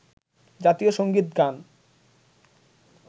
জাতীয় সংগীত গান